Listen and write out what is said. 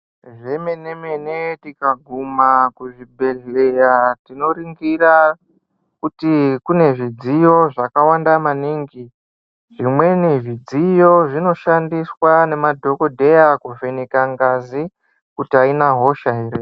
Zvemene-mene tikaguma kuzvibhedhlera tinoringira kuti kune zvidziyo zvakawanda maningi. Zvimweni zvidziyo zvinoshandiswa ngemadhogodheya kuvheneka ngazi kuti aina hosha here.